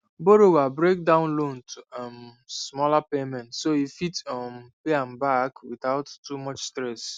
borrower break down loan to um smaller payments so e fit um pay am back without too much stress